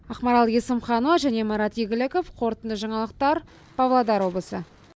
ақмарал есімханова және марат игіліков қорытынды жаңалықтар павлодар облысы